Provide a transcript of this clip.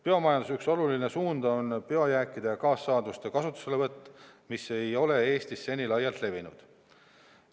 Biomajanduse üks oluline suund on biojääkide ja kaassaaduste kasutuselevõtt, mis ei ole Eestis seni laialt levinud.